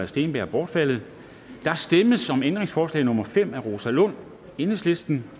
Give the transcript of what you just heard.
steenberg bortfaldet der stemmes om ændringsforslag nummer fem af rosa lund enhedslisten